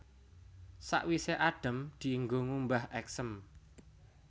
Sawisé adhem dienggo ngumbah èksém